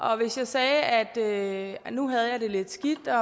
og hvis jeg sagde at nu havde jeg det lidt skidt